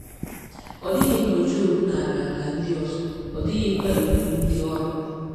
Ọ dịghị mgbe Job nara ala ndị ọzọ, ọ dịghịkwa erigbu ndị ọrụ.